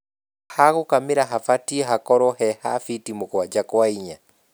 Hagũkamĩra habatie hakorwo heha fiti mũgwaja kwa inya.